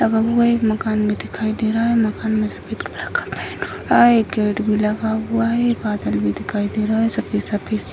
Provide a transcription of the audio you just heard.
लगा हुआ एक मकान भी दिखाई दे रहा है | मकान में सफ़ेद कलर का पेंट हो रहा है | एक गेट भी लगा हुआ है बादल भी दिखाई दे रहा है सफ़ेद-सफ़ेद |